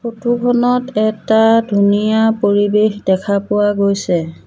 Photo খনত এটা ধুনীয়া পৰিৱেশ দেখা পোৱা গৈছে।